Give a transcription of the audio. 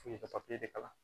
F'u i ka de kalan